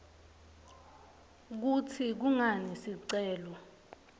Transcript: kutsi kungani sicelo